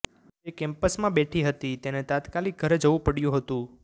તે કેમ્પસમાં બેઠી હતી તેને તાત્કાલિક ઘરે જવું પડ્યું હતું